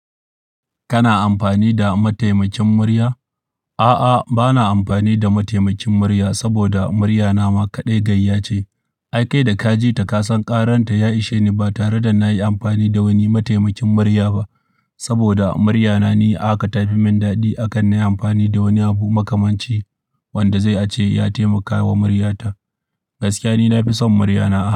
Kana amfani da mataimakin murya? A'a, ba na amfani da mataimakin murya saboda muryana ma kaɗai gayya ce. Ai kai da ka ji ta ka san ƙaranta ya ishe ni ba tare da na yi amfani da wani mataimakin murya ba. Saboda muryana ni ahaka ta fi min daɗi akan na yi amfani da wani abu makamanci wanda zai a ce ya taimaka wa muryata. Gaskiya ni na fi son muryana.